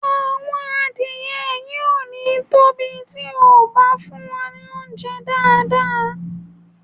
Àwọn adìẹ yìí ò ní tóbi tí e bá fún wọn ní óunjẹ́ dáàdáà